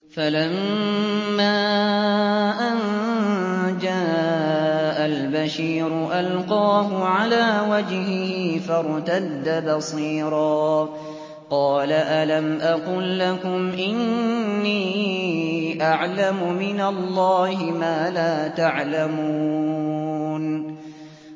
فَلَمَّا أَن جَاءَ الْبَشِيرُ أَلْقَاهُ عَلَىٰ وَجْهِهِ فَارْتَدَّ بَصِيرًا ۖ قَالَ أَلَمْ أَقُل لَّكُمْ إِنِّي أَعْلَمُ مِنَ اللَّهِ مَا لَا تَعْلَمُونَ